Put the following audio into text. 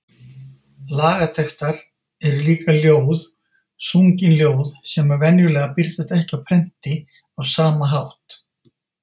Lagatextar eru líka ljóð, sungin ljóð sem venjulega birtast ekki á prenti á sama hátt.